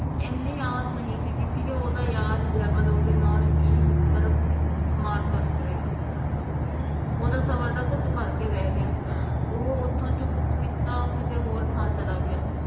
ਇਹਨੀ ਆਸ ਨਹੀਂ ਸੀ ਕੀਤੀ ਕਿ ਓਹਦਾ ਯਾਰ ਜੇਮਲ ਓਹਦੇ ਨਾਲ ਇਹ ਮਿੱਤਰ ਮਾਰ ਕਾਟ ਕਰੇਗਾ ਓਹਦਾ ਸਬਰ ਦਾ ਘੁੱਟ ਭਰ ਕੇ ਬਹਿ ਗਿਆ ਉਹ ਓਥੋਂ ਚੁੱਪ ਚਪੀਤਾ ਕਿਸੇ ਹੋਰ ਥਾਂ ਚਲਾ ਗਿਆ